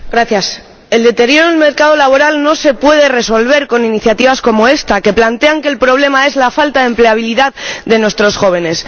Señora Presidenta, el deterioro del mercado laboral no se puede resolver con iniciativas como esta, que plantean que el problema es la falta de empleabilidad de nuestros jóvenes.